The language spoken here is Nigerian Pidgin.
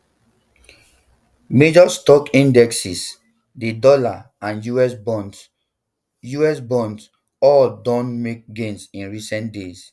major stock indexes di dollar and us bonds us bonds all don make gains in recent days